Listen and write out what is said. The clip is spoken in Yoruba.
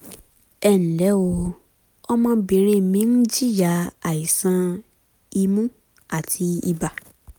ẹ ǹlẹ́ o ọmọbìnrin mi ń jìyà àìsàn imú àti ibà